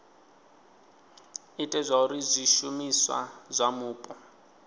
ite zwauri zwishumiswa zwa mupo